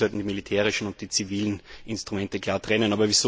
Ich denke, wir sollten die militärischen und die zivilen Instrumente klar trennen.